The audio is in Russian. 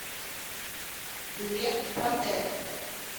билет протэк